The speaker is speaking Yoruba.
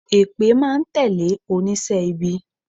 Èpè máa n tẹ̀lé onísé ibi